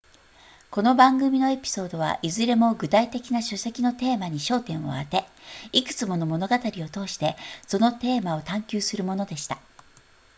この番組のエピソードはいずれも具体的な書籍のテーマに焦点を当ていくつもの物語を通してそのテーマを探求するものでした